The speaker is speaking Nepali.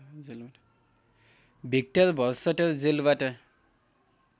भिक्टर भर्सटर जेलबाट